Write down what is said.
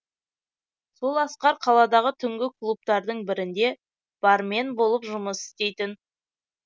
сол асқар қаладағы түнгі клубтардың бірінде бармен болып жұмыс істейтін